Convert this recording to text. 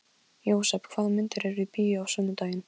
Jósep, hvaða myndir eru í bíó á sunnudaginn?